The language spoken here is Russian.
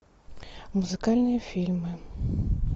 музыкальные фильмы